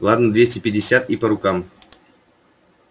ладно двести пятьдесят и по рукам